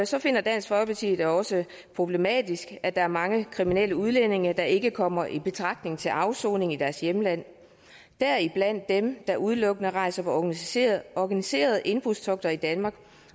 så finder dansk folkeparti det også problematisk at der er mange kriminelle udlændinge der ikke kommer i betragtning til afsoning i deres hjemland deriblandt dem der udelukkende rejser på organiserede organiserede indbrudstogter i danmark